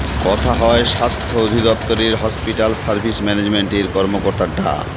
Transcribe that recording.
কথা হয় স্বাস্থ্য অধিদফতরের হসপিটাল সার্ভিস ম্যানেজমেন্টের কর্মকর্তা ডা